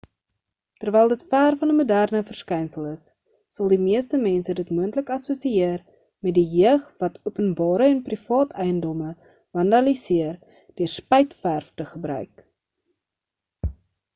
terwyl dit ver van 'n moderne verskynsel is sal die meeste mense dit moontlik assosieer met die jeug wat openbare en privaat eiendom vandaliseer deur spuitverf te gebruik